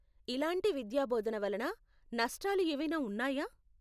ఇలాంటి విద్యాబోధన వలన నష్టాలు ఏవైనా ఉన్నాయా?